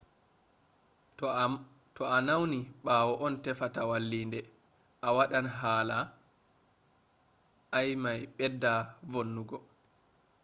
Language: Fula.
to a nawni ɓawo an tefata wallita a waɗan hala i mai bedda vonnugo